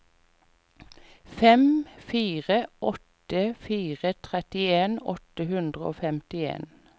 fem fire åtte fire trettien åtte hundre og femtien